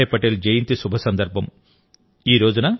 సర్దార్ వల్లభాయ్ పటేల్ జయంతి శుభ సందర్భం